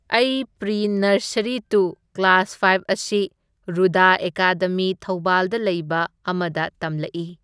ꯑꯩ pre nursery to class five ꯑꯁꯤ ꯔꯨꯗꯥ ꯑꯦꯀꯥꯗꯃꯤ ꯊꯧꯕꯥꯜꯗ ꯂꯩꯕ ꯑꯃꯗ ꯇꯝꯂꯛꯢ꯫